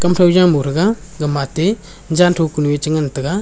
kau jamo thaga gama ate zanthong kanuye chi ngantaga.